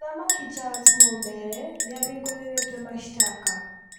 Mũthamaki Charles Mumbere nĩabingurĩrĩtwe mashtaka